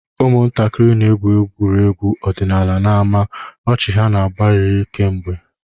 Ụmụntakịrị na-egwu egwuregwu ọdịnala n'ámá, ọchị ha na-agbagharị kemgbe.